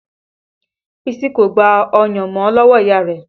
Bísí kò gba ọyàn mọ́ lọ́wọ́ ìyá rẹ̀